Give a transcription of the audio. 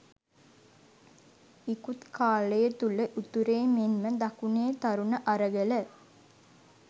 ඉකුත් කාලය තුළ උතුරේ මෙන්ම දකුණේ තරුණ අරගල